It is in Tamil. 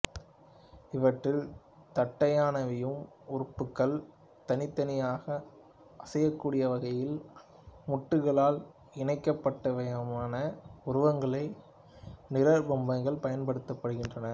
இவற்றில் தட்டையானவையும் உறுப்புக்கள் தனித்தனியாக அசையக் கூடிய வகையில் மூட்டுக்களால் இணைக்கப்பட்டவையுமான உருவங்களைப் நிழற் பொம்மைகள் பயன்படுத்துகின்றனர்